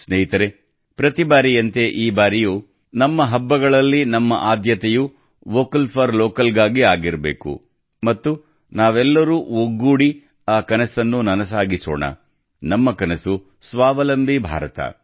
ಸ್ನೇಹಿತರೇ ಪ್ರತಿ ಬಾರಿಯಂತೆ ಈ ಬಾರಿಯೂ ನಮ್ಮ ಹಬ್ಬಗಳಲ್ಲಿ ನಮ್ಮ ಆದ್ಯತೆಯು ವೋಕಲ್ ಫಾರ್ ಲೋಕಲ್ ಗಾಗಿ ಆಗಿರಬೇಕು ಮತ್ತು ನಾವೆಲ್ಲರೂ ಒಗ್ಗೂಡಿ ಆ ಕನಸನ್ನು ನನಸಾಗಿಸೋಣ ನಮ್ಮ ಕನಸು ಸ್ವಾವಲಂಬಿ ಭಾರತ